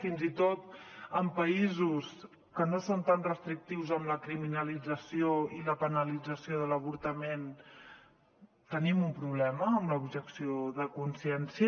fins i tot en països que no són tan restrictius amb la criminalització i la penalització de l’avortament tenim un problema amb l’objecció de consciència